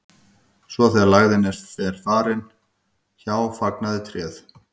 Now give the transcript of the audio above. svo þegar lægðin var farin hjá fagnaði tréð